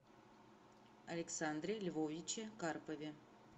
александре львовиче карпове